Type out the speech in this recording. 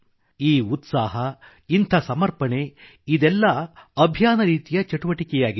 ಈ ಉತ್ಸಾಹ ಇಂಥ ಸಮರ್ಪಣೆ ಇದೆಲ್ಲ ಅಭಿಯಾನ ರೀತಿಯ ಚಟುವಟಿಕೆಯಾಗಿದೆ